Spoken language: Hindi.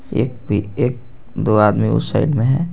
यह एक पी एक दो आदमी उस साइड में है.